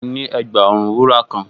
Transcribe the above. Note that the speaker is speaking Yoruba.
Mo ní ẹ̀gbà-ọrùn wúrà kan